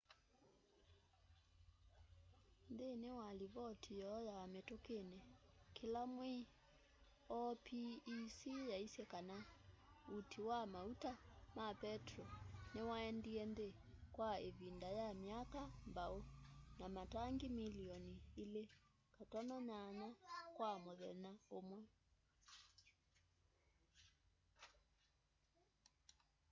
nthĩnĩ wa livoti yoo ya mĩtũkĩnĩ ya kĩla mwei opec yaisye kana ũti wa maũta ma petro nĩwaendĩe nthĩ kwa ivinda ya myaka mbaũ na matangĩ mĩlĩonĩ 2.8 kwa mũthenya ũmwe